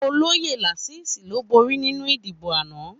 Ólóyé Lasisi ló bórí ninú idibó àná